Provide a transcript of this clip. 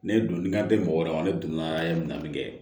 Ne donni kan te mɔgɔ wɛrɛ ma ne donna ye min na nin kɛ